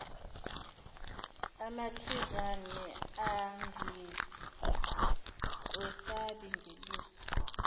amakhizane angikwesabi ngelusa